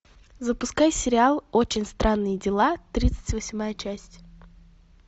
запускай сериал очень странные дела тридцать восьмая часть